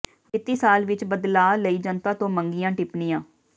ਵਿੱਤੀ ਸਾਲ ਵਿਚ ਬਦਲਾਅ ਲਈ ਜਨਤਾ ਤੋਂ ਮੰਗੀਆਂ ਟਿੱਪਣੀਆਂ